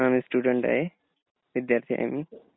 हा मी स्टुडन्ट आहे. विद्यार्थी आहे मी.